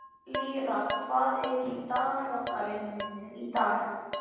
Lýra, hvað er í dagatalinu mínu í dag?